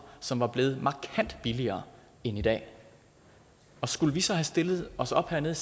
som var blevet markant billigere end i dag skulle vi så have stillet os op hernede